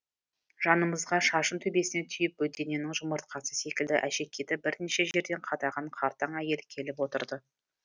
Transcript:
жанымызға шашын төбесіне түйіп бөдененің жұмыртқасы секілді әшекейді бірнеше жерден қадаған қартаң әйел келіп отырды